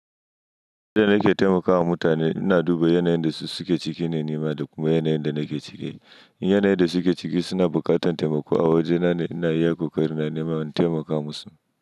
Yanda nake taimakawa mutane, ina duba yanayin da su suke ciki ne nima da kuma yanayin da nake ciki. Yanayin da suke ciki suna buƙatar taimako a wajena ne ina iya kokari na nema na taimaka musu.